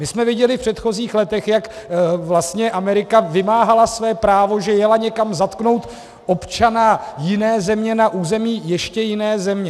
My jsme viděli v předchozích letech, jak vlastně Amerika vymáhala své právo, že jeli někam zatknout občana jiné země na území ještě jiné země.